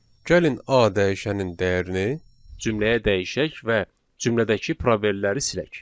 Gəlin A dəyişənin dəyərini cümləyə dəyişək və cümlədəki probelləri silək.